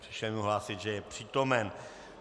Přišel mi hlásit, že je přítomen.